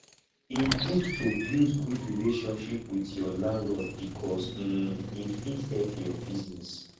e good to build good relationship with your landlord bicos um e fit help your business